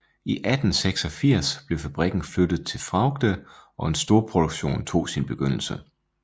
I 1886 blev fabrikken flyttet til Fraugde og en storproduktion tog sin begyndelse